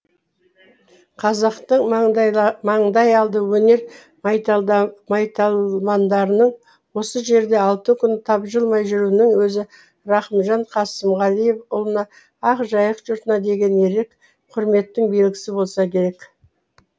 қазақтың маңдай алды өнер майталмандарының осы жерде алты күн тапжылмай жүруінің өзі рахымжан қасымғалиұлына ақ жайық жұртына деген ерек құрметтің белгісі болса керек